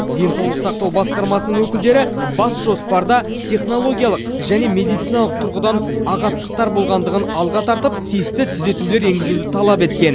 денсаулық сақтау басқармасының өкілдері бас жоспарда технологиялық және медициналық тұрғыдан ағаттықтар болғандығын алға тартып тиісті түзетулер енгізуді талап еткен